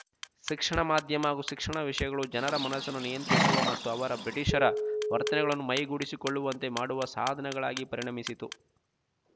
ಶಿಕ್ಷಣ ಮಾಧ್ಯಮ ಹಾಗೂ ಶಿಕ್ಷಣ ವಿಷಯಗಳು ಜನರ ಮನಸ್ಸನ್ನು ನಿಯಂತ್ರಿಸುವ ಮತ್ತು ಅವರ ಬ್ರಿಟಿಷರ ವರ್ತನೆಗಳನ್ನು ಮೈಗೂಡಿಸಿಕೊಳ್ಳುವಂತೆ ಮಾಡುವ ಸಾಧನಗಳಾಗಿ ಪರಿಣಮಿಸಿತು